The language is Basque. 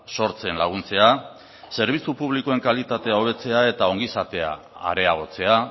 sortzen laguntzea zerbitzu publikoen kalitatea hobetzea eta ongizatea areagotzea